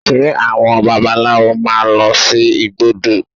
Ṣe àwọn babaláwo máa lọ sí igbódù?